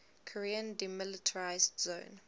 korean demilitarized zone